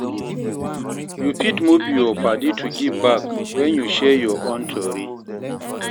You fit move yur padi to give back wen yu share yur own stori.